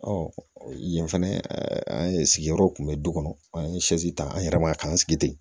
yen fɛnɛ an ye sigiyɔrɔw kunbɛ du kɔnɔ an ye ta an yɛrɛ b'a k'an sigi ten